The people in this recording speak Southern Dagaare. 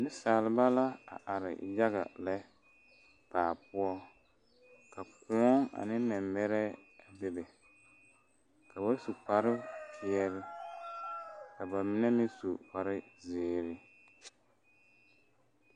Neŋsaliba la a are yaga lɛ baa poɔ ka kõɔ ane mɛmɛrɛɛ a bebe ka ba su kparepeɛle ka ba mine meŋ su kparezeere.